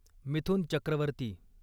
Mithun Chakraborty